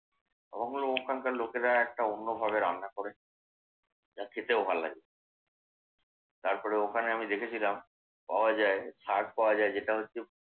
আমার মনে হয় ওখানকার লোকেরা একটা অন্যভাবে রান্না করে। যা খেতেও ভাল্লাগে। তারপরে ওখানে আমি দেখেছিলাম পাওয়া যায় শাক পাওয়া যায়। যেটা হচ্ছে।